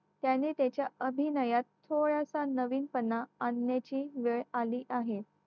त्याने त्याच्या अभिनयात थोडासा नवीन पणा आणण्याची वेळ आली आहे